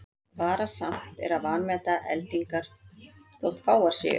Varasamt er að vanmeta eldingar þótt fáar séu.